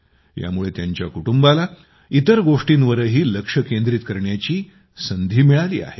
यामुळे तिच्या कुटुंबाला इतर गोष्टींवरही लक्ष केंद्रित करण्याची संधी मिळाली आहे